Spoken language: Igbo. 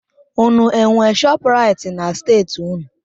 Unu enwe Shọpraịt na steeti unu?